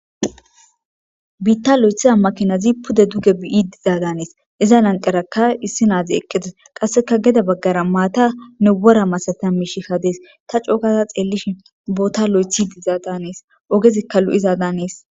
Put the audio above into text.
biitta lo7ethiza makinazi pude duge biyi dizaadanees iza nanqerakka issi naazi eqqetes qasseka geda baggara maatanne wora masatami shi hadees ta cookasa xeellishi boota lo7ethi dizaadaanees ogezikka lu7iza danees